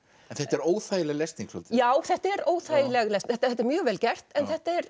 þetta er óþægileg lesning svolítið já þetta er óþægileg lesning þetta er mjög vel gert en þetta er